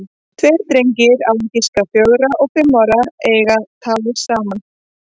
Tveir drengir, á að giska fjögra og fimm ára, eiga tal saman.